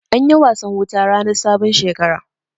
Anyi wasan wuta rannan sabon Shekara.